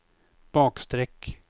bakstreck